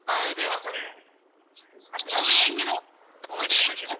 ಹೌದು movie ಹೆಂಗಿದೆ .